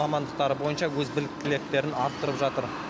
мамандықтары бойынша өз біліктіліктерін арттырып жатыр